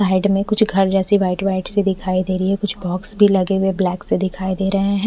Side में कुछ खाई जैसी वाइट वाइट सी दिखाई दे रही है कुछ बॉक्स भी लगे हुए ब्लैक से दिखाई दे रहे है।